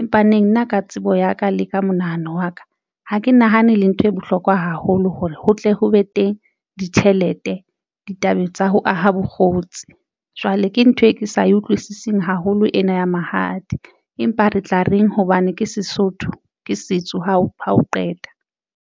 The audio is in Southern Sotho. Empa neng nna ka tsebo ya ka le ka monahano wa ka. Ha ke nahane le ntho e bohlokwa haholo hore ho tle ho be teng ditjhelete ditabeng tsa ho aha bokgotsi, jwale ke ntho e ke sa e utlwisising haholo ena ya mahadi, empa re tla reng hobane ke Sesotho ke setso ha o ha o qeta.